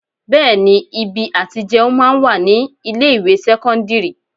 Bẹẹni ibi àti jẹun máa ń wà ní ilé ìwé sẹ́kọ́ńdírì.